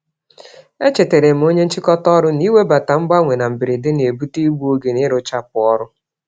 E chetaaram onyé nchịkọta ọrụ na, iwebata mgbanwe na mberede, n'ebute igbu-oge n'ịrụchapụ ọrụ.